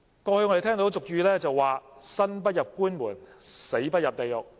過去有俗語謂："生不入官門、死不入地獄"。